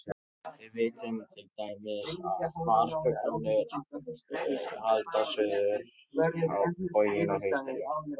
Við vitum til dæmis að farfuglarnir halda suður á bóginn á haustin.